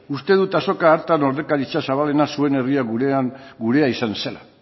uste dut azoka hartan ordezkaritza zabalena zuen herria gurea izan zela